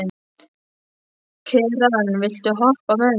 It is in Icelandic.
Keran, viltu hoppa með mér?